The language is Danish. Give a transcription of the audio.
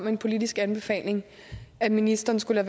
en politisk anbefaling af at ministeren skulle